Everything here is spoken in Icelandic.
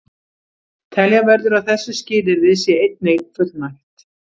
Telja verður að þessu skilyrði sé einnig fullnægt.